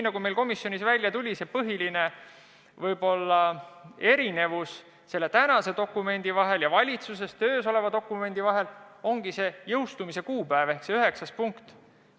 Nagu ka komisjonis välja tuli, põhiline erinevus tänase eelnõu ja valitsuses töös oleva dokumendi vahel ongi jõustumise kuupäev, mis on kirjas üheksandas punktis.